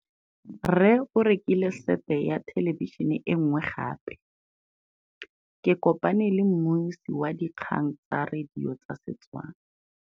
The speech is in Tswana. Rre o rekile sete ya thêlêbišênê e nngwe gape. Ke kopane mmuisi w dikgang tsa radio tsa Setswana.